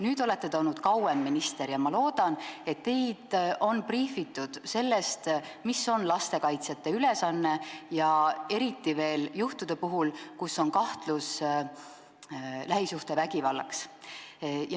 Nüüd te olete olnud minister kauem ja ma loodan, et teid on briifitud, mis on lastekaitsjate ülesanne ja eriti veel juhtude korral, kui on lähisuhtevägivalla kahtlus.